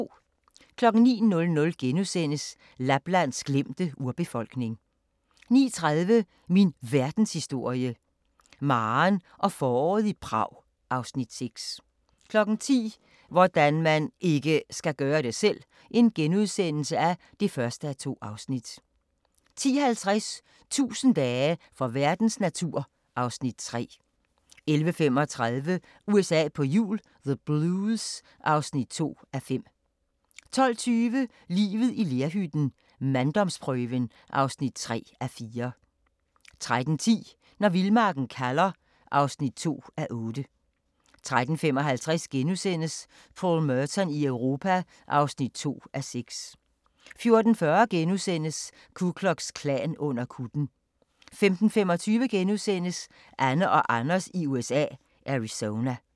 09:00: Laplands glemte urbefolkning * 09:30: Min Verdenshistorie – Maren og foråret i Prag (Afs. 6) 10:00: Hvordan man IKKE skal gøre det selv! (1:2)* 10:50: 1000 dage for verdens natur (Afs. 3) 11:35: USA på hjul - the Blues (2:5) 12:20: Livet i lerhytten - manddomsprøven (3:4) 13:10: Når vildmarken kalder (2:8) 13:55: Paul Merton i Europa (2:6)* 14:40: Ku Klux Klan under kutten * 15:25: Anne og Anders i USA – Arizona *